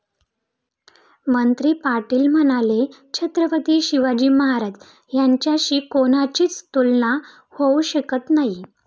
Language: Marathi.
मंत्री पाटील म्हणाले, छत्रपती शिवाजी महाराज यांच्याशी कोणाचीच तुलना होऊ शकत नाही.